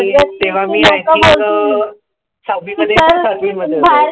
तेंव्हा मी I think um सहावी मध्ये की सातवी मध्ये होतो.